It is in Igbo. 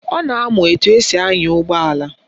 Ọ na-amụ etu esi anya ụgbọala